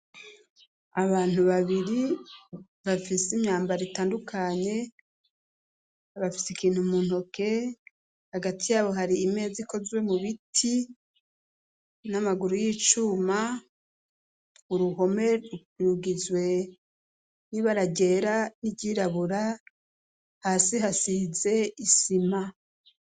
Abantu babiri bafise imyambao ritandukanye bafise ikintu muntoke hagati yabo hari imeza ikozwe mu biti n'amaguru y'icuma uruhome rugizwe ni baragyera n'iryirabura hasi hasize isima.